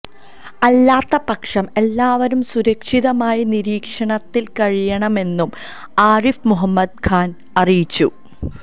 അല്ലാത്തപക്ഷം എല്ലാവരും സുരക്ഷിതമായി നിരീക്ഷണത്തില് കഴിയണമെന്നും ആരിഫ് മുഹമ്മദ് ഖാന് അറിയിച്ചു